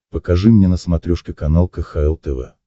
покажи мне на смотрешке канал кхл тв